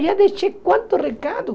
Já deixei quantos recados?